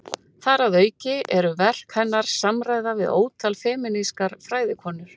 Þar að auki eru verk hennar samræða við ótal femínískar fræðikonur.